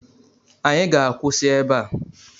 Anyị ga-akwụsị ebe a